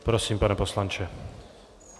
Prosím, pane poslanče.